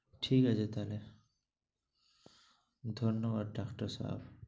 ঠিক আছে তাহলে। ধন্যবাদ ডাক্তার সাব।